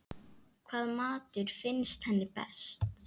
Hvaða matur finnst henni bestur?